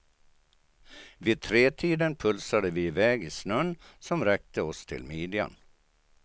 Vid tretiden pulsade vi iväg i snön som räckte oss till midjan.